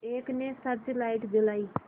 एक ने search light जलाई